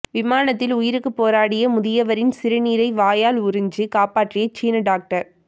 விமானத்தில் உயிருக்கு போராடிய முதியவரின் சிறுநீரை வாயால் உறிஞ்சு காப்பாற்றிய சீன டாக்டர்